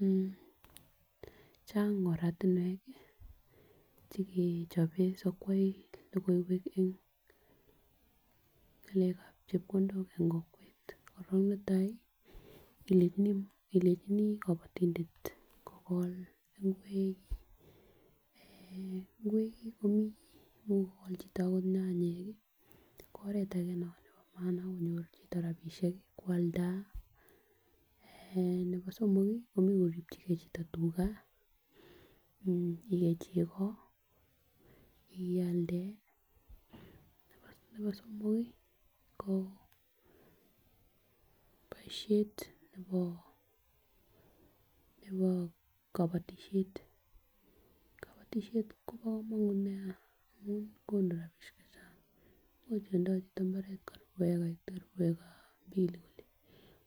Mmh Chang oratunwek kii chekechoben sikwai lokoiwek en ngalekab chepkondok en kokwet koron netai ilenjini ilenjinii kobotindet kogol ingwek, beek, ingwek kii mii imuch kogol chito okot nyanyik kii ko oret age non nebo maana ak konyor chito rabishek kii kwalda aah nebo somok kii ko imuch koripchigee chito tugaa ikei cheko ialde. Nebo somok kii ko boishet nebo nebo kobotishet ,kobotishet Kobo komonut nia amun konu rabishek chechang imuch itindoi chito imbaret karibu acre mbili